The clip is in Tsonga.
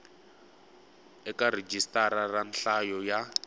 eka rhijisitara ra nhlayo ya